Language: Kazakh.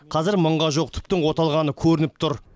қазір мыңға жуық түптің оталғаны көрініп тұр